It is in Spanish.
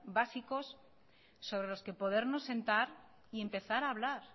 básicos sobre los que podernos sentar y empezar a hablar